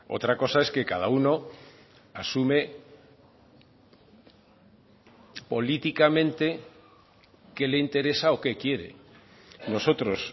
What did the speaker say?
otra cosa es que cada uno asume políticamente qué le interesa o qué quiere nosotros